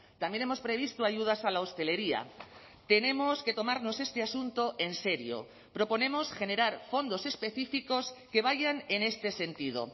también hemos previsto ayudas a la hostelería tenemos que tomarnos este asunto en serio proponemos generar fondos específicos que vayan en este sentido